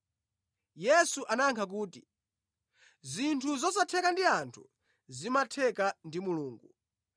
Yesu anayankha kuti, “Zinthu zosatheka ndi anthu zimatheka ndi Mulungu.”